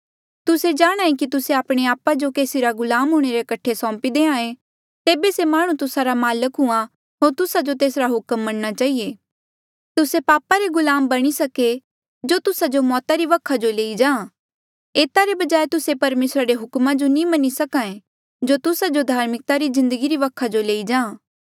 तुस्से जाणांहे कि तुस्से आपणे आपा जो केसी रा गुलाम हूंणे रे कठे सौंपी देहां ऐें तेबे से माह्णुं तुस्सा रा माल्क हुआ होर तुस्सा जो तेसरा हुक्म मनणा चहिए तुस्से पापा रे गुलाम बणी सके जो तुस्सा जो मौता री वखा जो लेई जां एता रे बजाय तुस्से परमेसरा रे हुक्मा जो भी मन्हां ईं सका ऐें जो तुस्सा जो धार्मिकता री जिन्दगी री वखा जो लेई जां